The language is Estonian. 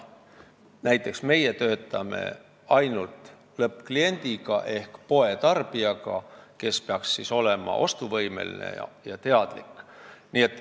Näiteks meie töötame ainult lõppkliendiga ehk poetarbijaga, kes peaks olema ostuvõimeline ja teadlik.